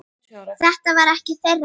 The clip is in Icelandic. Þetta var ekki þeirra kvöld.